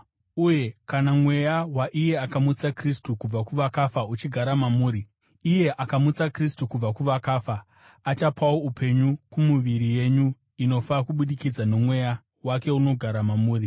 Uye kana Mweya waiye akamutsa Kristu kubva kuvakafa uchigara mamuri, iye akamutsa Kristu kubva kuvakafa achapawo upenyu kumiviri yenyu inofa kubudikidza noMweya wake unogara mamuri.